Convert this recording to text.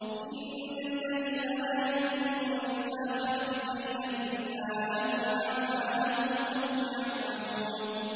إِنَّ الَّذِينَ لَا يُؤْمِنُونَ بِالْآخِرَةِ زَيَّنَّا لَهُمْ أَعْمَالَهُمْ فَهُمْ يَعْمَهُونَ